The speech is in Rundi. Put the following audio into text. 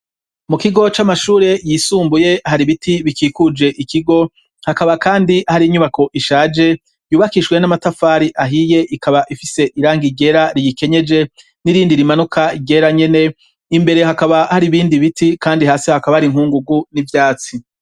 Mu kigo c'amashure yisumbuye hari ibiti bikikuje ikigo, hakaba kandi hari inyubako ishaje yubakishijwe n'amatafari ahiye ikaba ifise irangi ryera riyikenyeje, n'irindi rimanuka ryera nyene. Imbere hakaba hari ibindi biti kandi hasi hakaba hari inkungugu n'ivyatsi.